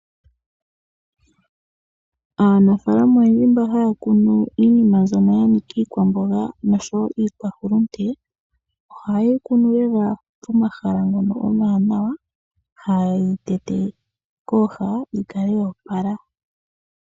Aanafaalama oyendji mbo haya kunu iikwamboga niikwahulunde oha ye yi kunu pomahala ngoka omawanawa.